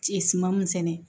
Suman mun sɛnɛ